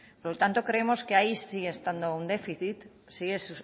por lo tanto creemos que ahí sigue